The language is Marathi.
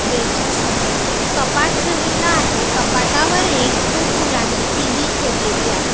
बेड च्या समोर कपाट ठेवलेला आहे. कपाटावर एक खूप पुरानी टी_व्ही ठेवलेली आहे.